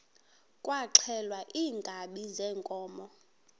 kwaxhelwa iinkabi zeenkomo